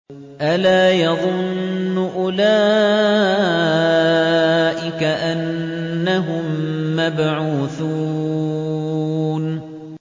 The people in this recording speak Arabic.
أَلَا يَظُنُّ أُولَٰئِكَ أَنَّهُم مَّبْعُوثُونَ